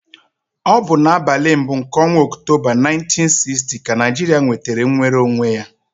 Ọ bụ n'abalị mbụ nke ọnwa Ọktoba 1960 ka Naijiria nwetara nnwere onwe ya.